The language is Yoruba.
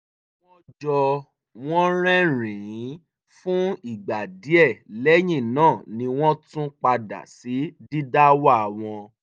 wọ́n jọ wọn rẹ́rìn-ín fún ìgbà díẹ̀ lẹ́yìn náà ni wọ́n tún padà sí didáwà wọn